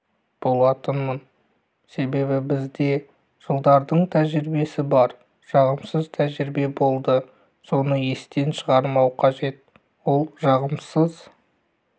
болатынмын себебі бізде жылдардың тәжірибесі бар жағымсыз тәжірибе болды соны естен шығармау қажет ол жағымсыз